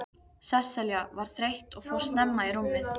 Sesselja var þreytt og fór snemma í rúmið.